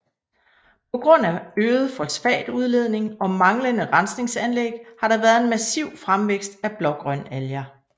På grund af øget fosfatudledning og mangelende rensningsanlæg har der været en massiv fremvækst af blågrønalger